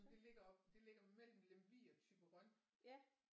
Jamen det ligger oppe det ligger mellem Lemvig og Thyborøn